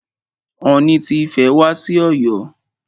Ooni ti Ifẹ̀ wá sí Ọ̀yọ́.